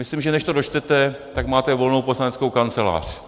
Myslím, že než to dočtete, tak máte volnou poslaneckou kancelář.